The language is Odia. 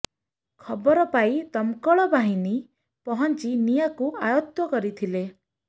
ଖବର ପାଇ ଦମ୍କଳ ବାହିନୀ ପହଞ୍ଚି ନିଆଁକୁ ଆୟତ୍ତ କରିଥିଲେ